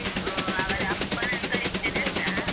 ಅಪ್ಪನನ್ನು ಕಳಿಸ್ತೇನೆ ಅಂತ.